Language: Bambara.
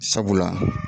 Sabula